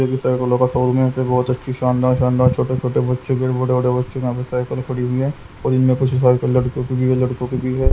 बहोत अच्छी सानदार सानदार छोटे छोटे बच्चों के बड़े बड़े बच्चों यहां पे की साइकल पड़ी हुई है और इनमे कुछ बड़े बड़े लड़कियो की भी लड़को की भी है।